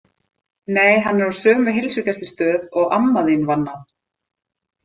Nei, hann er á sömu heilsugæslustöð og amma þín vann á.